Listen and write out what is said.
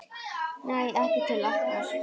Nei, ekki til okkar